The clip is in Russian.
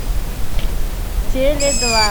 теле два